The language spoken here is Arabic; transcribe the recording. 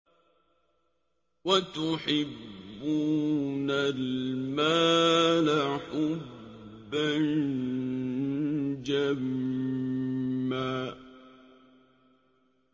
وَتُحِبُّونَ الْمَالَ حُبًّا جَمًّا